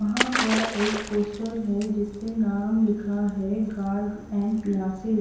वहां पर एक पोस्टर है जिस पे नाम लिखा है गार्ग एंड क्लासेस --